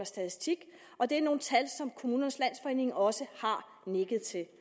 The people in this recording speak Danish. statistik og det er nogle tal som kommunernes landsforening også har nikket til det